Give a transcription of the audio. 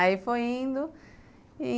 Aí foi indo e